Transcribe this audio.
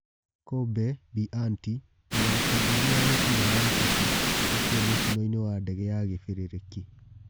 Kobe bĩ anti mũthaki ngũthi wa mũbira wa gĩ kabũ gũkua mũtinoinĩ wa dege ya kibĩ rĩ rĩ ki